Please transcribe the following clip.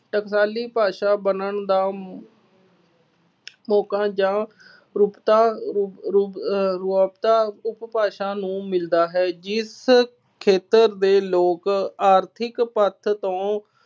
ਟਕਸਾਲੀ ਬਣਨ ਦਾ ਮੁ ਮੌਕਾ ਜਾਂ ਰੂਪਤਾ ਰੂਪ ਰੂਪ ਅਹ ਰਾਬਤਾ ਉਪਭਾਸ਼ਾ ਨੂੰ ਮਿਲਦਾ ਹੈ ਜਿਸ ਖੇਤਰ ਦੇ ਲੋਕ ਆਰਥਿਕ ਪੱਖ ਤੋਂ